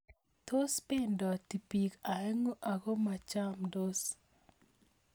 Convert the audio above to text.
Tos pendoti biik aengu akomakasindos?